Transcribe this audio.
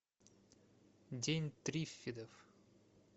день триффидов